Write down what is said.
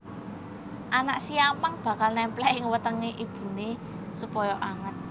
Anak siamang bakal némplék ing wetengé ibuné supaya anget